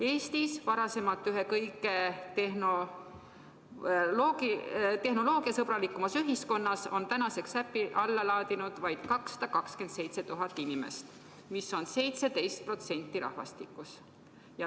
Eestis, varem ühes kõige tehnoloogiasõbralikumas ühiskonnas on tänaseks äpi alla laadinud vaid 227 000 inimest, mis on 17% rahvastikust.